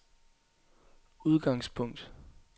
udgangspunkt